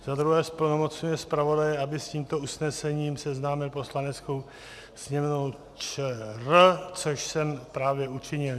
Za druhé zplnomocňuje zpravodaje, aby s tímto usnesením seznámil Poslaneckou sněmovnu ČR, což jsem právě učinil.